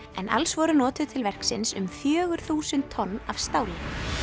en alls voru notuð til verksins um fjögur þúsund tonn af stáli